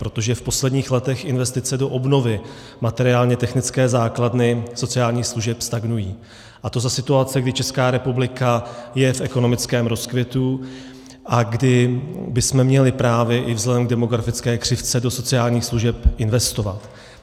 Protože v posledních letech investice do obnovy materiálně technické základny sociálních služeb stagnují, a to za situace, kdy Česká republika je v ekonomickém rozkvětu a kdy bychom měli právě i vzhledem k demografické křivce do sociálních služeb investovat.